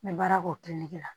N bɛ baara kɛ o la